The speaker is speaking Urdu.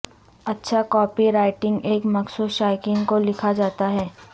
اچھا کاپی رائٹنگ ایک مخصوص شائقین کو لکھا جاتا ہے